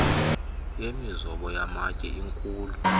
yemizobo yamatye inkhulu